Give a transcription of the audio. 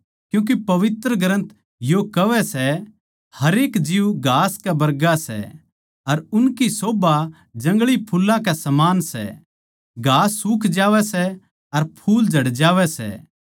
क्यूँके पवित्र ग्रन्थ यो कहवै सै हरेक जीव घास कै बरगा सै अर उनकी शोभा जंगली फुल्लां कै समान सै घास सूख जावै सै अर फूल झड़ जावै सै